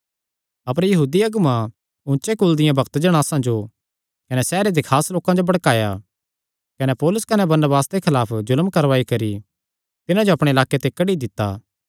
अपर यहूदी अगुआं ऊचे कुल दियां भक्त जणासां जो कने सैहरे दे खास लोकां जो भड़काया कने पौलुस कने बरनबास दे खलाफ जुल्म करवाई करी तिन्हां जो अपणे लाक्के ते कड्डी दित्ता